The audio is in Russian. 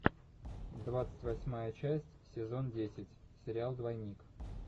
двадцать восьмая часть сезон десять сериал двойник